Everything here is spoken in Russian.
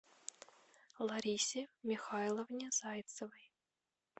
ларисе михайловне зайцевой